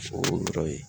O yɔrɔ ye